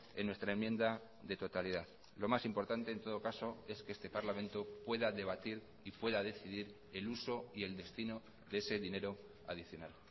en nuestra enmienda de totalidad lo más importante en todo caso es que este parlamento pueda debatir y pueda decidir el uso y el destino de ese dinero adicional